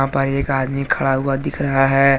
एक आदमी खड़ा हुआ दिख रहा है।